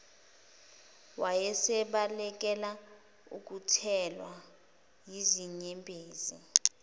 wayesebalekela ukuthelwa yizinyembezi